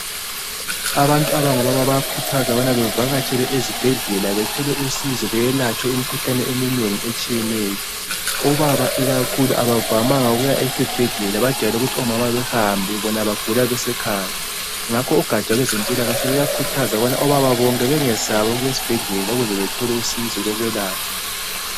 Abantu abangobaba bayakhuthazwa ukubana bevakatshele ezibhedlela bethole usizo belatshwe imikhuhlane eminengi etshiyeneyo , obaba ikakhulu abavamanga ukuya esibhedlela bayajayele ukuthi omama behambe bona bagula besekhaya ngakho ugatsha lwezempilakahle luyakhuthaza ukubana obaba bonke bengesabi ukuyesibhedlela ukuze bethole usizo lokwelatshwa